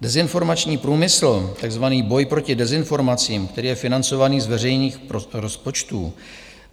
Dezinformační průmysl, takzvaný boj proti dezinformacím, který je financovaný z veřejných rozpočtů,